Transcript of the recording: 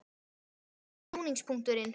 Verður þetta snúningspunkturinn?